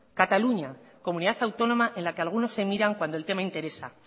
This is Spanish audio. cataluña comunidad autónoma en la que algunos se miran cuando el tema interesa